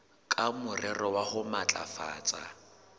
ka morero wa ho matlafatsa